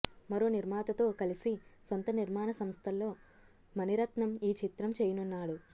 మరో నిర్మాతతో కలిసి సొంత నిర్మాణ సంస్థలో మణిరత్నం ఈ చిత్రం చేయనున్నాడు